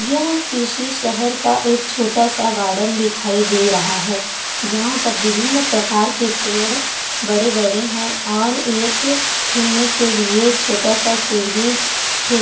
यहाँ किसी शहर का एक छोटा-सा गार्डन दिखाई दे रहा है जहाँ पर विभिन्न प्रकार के पड़े बड़े-बड़े है और एक खेलने के लिए छोटा-सा सीढ़ी खि--